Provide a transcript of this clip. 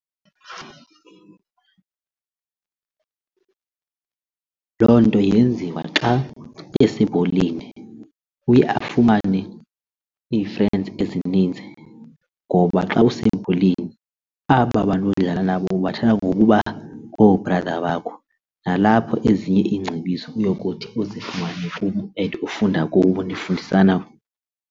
Loo nto yenziwa xa esebholeni uye afumane ii-fans ezininzi ngoba xa usebholeni aba bantu udlala nabo ubathatha ngokuba ngoo-brother wakho nalapho ezinye iingcebiso uyokuthi uzifumane kubo and ufunda kubo nifundisana.